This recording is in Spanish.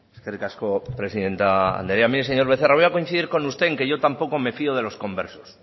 eskerrik asko presidente andrea mire señor becerra voy a coincidir con usted en que yo tampoco me fio de los conversos